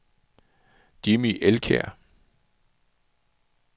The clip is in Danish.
Jimmy Elkjær